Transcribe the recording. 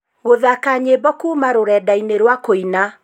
gũthaaka nyĩmbo kuuma rurenda-ini rwa kũina